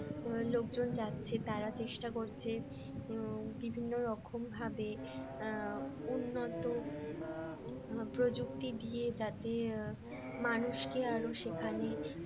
লোকজন যাচ্ছে তারা চেষ্টা করছে বিভিন্ন রকম ভাবে উন্নত প্রযুক্তি দিয়ে যাতে মানুষকে আরো সেখানে